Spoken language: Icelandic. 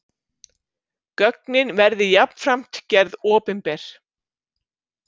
Gögnin verði jafnframt gerð opinber